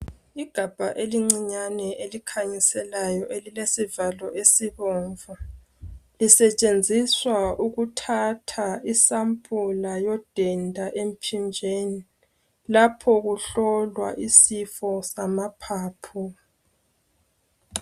Igabha elincinyane elikhanyiselayo elilesivalo esibomvu. Lisetshenziswa ukuthatha isampula yodenda emphinjeni lapho kuhlolwa isifo samaphaphu.